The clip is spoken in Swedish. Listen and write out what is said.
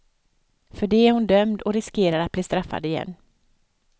För det är hon dömd och riskerar att bli straffad igen.